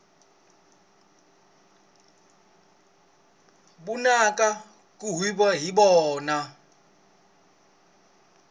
vunanga ku huhwiwa hi byona